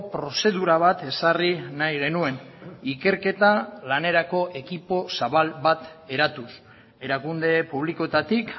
prozedura bat ezarri nahi genuen ikerketa lanerako ekipo zabal bat eratuz erakunde publikoetatik